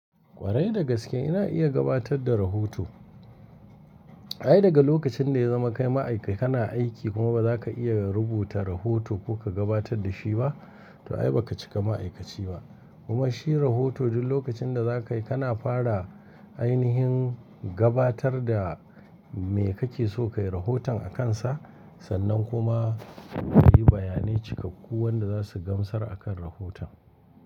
Kwarai da gaske ina iya gabatar da rahoto. Ai daga lokacin da ya zama kai ma'aikaci kana aiki kuma ba za ka iya rubuta rahoto ko ka gabatar da shi ba, to ai ba ka cika ma'aikaci ba. Kuma shi rahoto duk lokacin da zaka yi kana fara ainihin gabatar da me kake so ka yi rahoton a kansa. Sannan kuma ka yi bayanai cikakku wanda za su gamsar a kan rahoton.